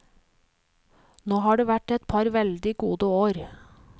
Nå har det vært et par veldig gode år.